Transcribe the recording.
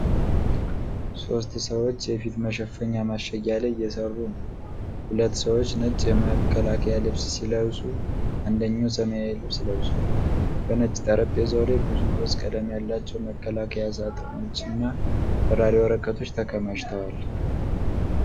ሦስት ሰዎች የፊት መሸፈኛ ማሸጊያ ላይ እየሠሩ ነው። ሁለት ሰዎች ነጭ የመከላከያ ልብስ ሲለብሱ፣ አንደኛው ሰማያዊ ልብስ ለብሷል። በነጭ ጠረጴዛው ላይ ብዙ ሮዝ ቀለም ያላቸው መከላከያ ሳጥኖችና በራሪ ወረቀቶች ተከማችተዋል።